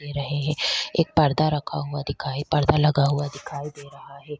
दे रहे है एक पर्दा रखा हुआ दिखाई पर्दा लगा हुआ दिखाई दे रहा है।